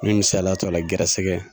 N mɛ misaliya ta o la gɛrɛsɛgɛ